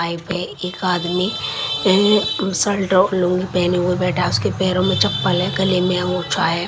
Bike पे एक आदमी अ शल्ट और लूंगी पहने हुए बैठा उसके पैरों में चप्पल है। गले में अंगोछा है।